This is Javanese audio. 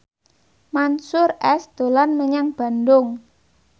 Mansyur S dolan menyang Bandung